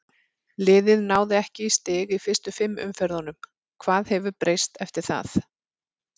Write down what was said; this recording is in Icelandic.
Liðið náði ekki í stig í fyrstu fimm umferðunum, hvað hefur breyst eftir það?